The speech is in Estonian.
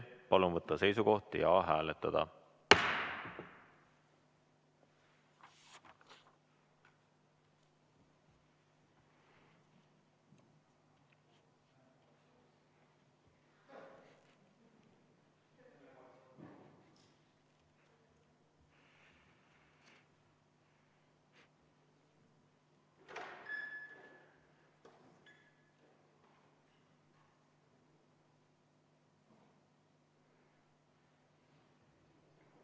Palun võtta seisukoht ja hääletada!